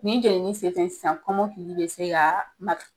Nin jɛnini sen fɛ sisan kɔmɔkili de se ka ma